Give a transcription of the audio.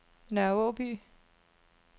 Nørre Aaby